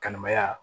Kalimaya